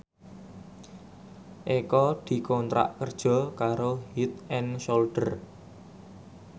Eko dikontrak kerja karo Head and Shoulder